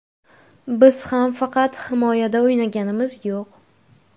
Biz ham faqat himoyada o‘ynaganimiz yo‘q.